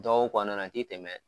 Dɔgɔkun kɔnɔna na a tɛ tɛmɛ.